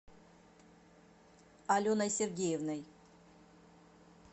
аленой сергеевной